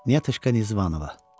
Niyetuşka Nizvanova.